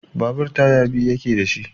Babur taya biyu yake da shi.